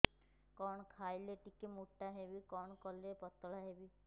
କଣ ଖାଇଲେ ଟିକେ ମୁଟା ହେବି କଣ କଲେ ପତଳା ହେବି